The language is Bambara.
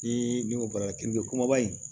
Ni n'o bɔra k'i be kumaba in